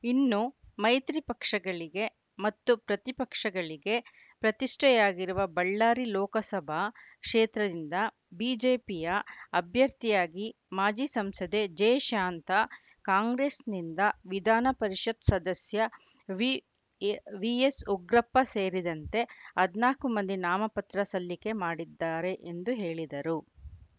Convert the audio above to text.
ಇನ್ನು ಮೈತ್ರಿ ಪಕ್ಷಗಳಿಗೆ ಮತ್ತು ಪ್ರತಿಪಕ್ಷಗಳಿಗೆ ಪ್ರತಿಷ್ಠೆಯಾಗಿರುವ ಬಳ್ಳಾರಿ ಲೋಕಸಭಾ ಕ್ಷೇತ್ರದಿಂದ ಬಿಜೆಪಿಯ ಅಭ್ಯರ್ಥಿಯಾಗಿ ಮಾಜಿ ಸಂಸದೆ ಜೆಶಾಂತಾ ಕಾಂಗ್ರೆಸ್‌ನಿಂದ ವಿಧಾನಪರಿಷತ್‌ ಸದಸ್ಯ ವಿಎಸ್‌ಉಗ್ರಪ್ಪ ಸೇರಿದಂತೆ ಹದಿನಾಲ್ಕು ಮಂದಿ ನಾಮಪತ್ರ ಸಲ್ಲಿಕೆ ಮಾಡಿದ್ದಾರೆ ಎಂದು ಹೇಳಿದರು